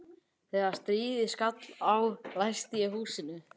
Þegar stríðið skall á læsti ég húsinu.